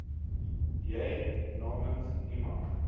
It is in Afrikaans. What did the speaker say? jy namens iemand